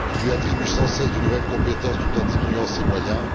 Il lui attribue sans cesse de nouvelles compétences tout en diminuant ses moyens.